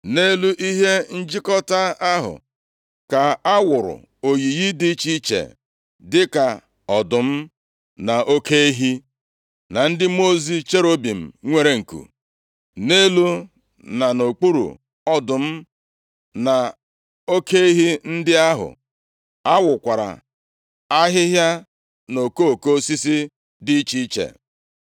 Nʼelu ihe njikọta ahụ ka a wụrụ oyiyi dị iche iche, dịka ọdụm, na oke ehi, na ndị mmụọ ozi cherubim nwere nku. Nʼelu, na nʼokpuru ọdụm, na oke ehi ndị ahụ, a wụkwara ahịhịa na okoko osisi dị iche iche.